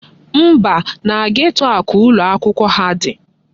Mba, na geto a ka ụlọakwụkwọ ha dị.